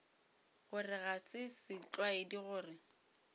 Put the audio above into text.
gore ga se setlwaedi gore